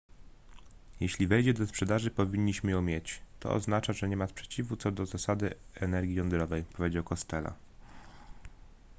jeśli wejdzie do sprzedaży powinniśmy ją mieć to oznacza że nie ma sprzeciwu co do zasady energii jądrowej powiedział costello